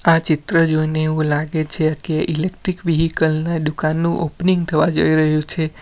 આ ચિત્ર જોઈને એવું લાગે છે કે ઈલેક્ટ્રીક વિહિકલ ને દુકાનનું ઓપનિંગ થવા જઈ રહ્યું છે.